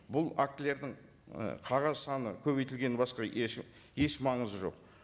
бұл актілердің і қағаз саны көбейтілгеннен басқа еш еш маңызы жоқ